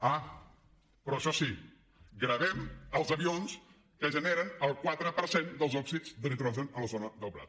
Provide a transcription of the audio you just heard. ah però això sí gravem els avions que generen el quatre per cent dels òxids de nitrogen a la zona del prat